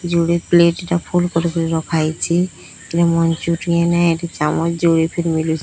ଯୋଡ଼େ ପ୍ଲେଟ୍ ଟା ଫୁଲ୍ କରିକିରି ରଖାହେଇଚି। ଏଟା ମଞ୍ଚୁ୍ରିଆନ୍ ଏ। ଏଠି ଚାମୋଚ୍ ଜୋଏଫେ ରେ ମିଲୁଚି।